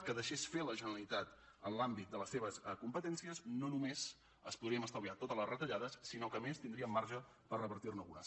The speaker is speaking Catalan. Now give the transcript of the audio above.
només que deixés fer la generalitat en l’àmbit de les seves competències no només ens podríem estalviar totes les retallades sinó que a més tindríem marge per repartir ne algunes